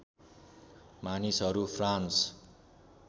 मानिसहरू फ्रान्स